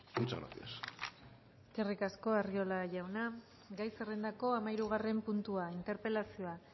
muchas gracias eskerrik asko arriola jauna gai zerrendako hamahirugarren puntua interpelazioa